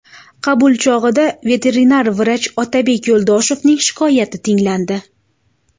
Qabul chog‘ida veterinar vrach Otabek Yo‘ldoshevning shikoyati tinglandi.